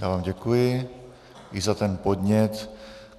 Já vám děkuji i za ten podnět.